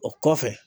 O kɔfɛ